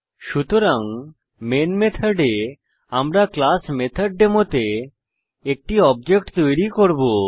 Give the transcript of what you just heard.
সুতরাং মেইন মেথডে আমরা ক্লাস মেথডেমো তে একটি অবজেক্ট তৈরী করব